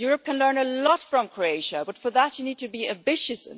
Europe can learn a lot from Croatia, but for that you need to be ambitious.